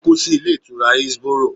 Ó kú sí Ilé Ìtura Hillsboro